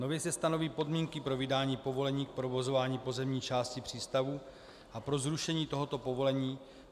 Nově se stanoví podmínky pro vydání povolení k provozování pozemní části přístavů a pro zrušení tohoto povolení.